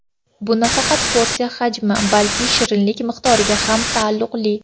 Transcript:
Bu nafaqat porsiya hajmi, balki shirinlik miqdoriga ham taalluqli.